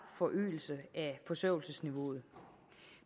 forøgelse af forsørgelsesniveauet